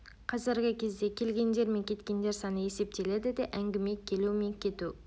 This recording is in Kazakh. қазіргі кезде келгендер мен кеткендер саны есептеледі де әңгіме келу мен кету